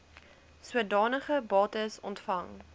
sodanige bates ontvang